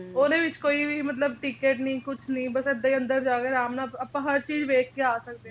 ਉਹਦੇ ਵਿੱਚ ਕੋਈ ਵੀ ਮਤਲਬ ticket ਨੀ ਕੁਛ ਨੀ ਬਸ ਇਹਦਾ ਹੀ ਅੰਦਰ ਜਾਕੇ ਅਰਾਮ ਨਾਲ ਆਪਾ ਹਰ ਚੀਜ ਵੇਖਕੇ ਆ ਸਕਦੇ ਆ